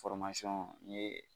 n ye